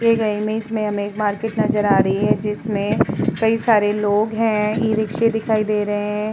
दिए गए इमेज में हमे एक मार्केट नज़र आ रही है। जिसमे कई सारे लोग है। इ-रिक्शे दिखाई दे रहे हैं।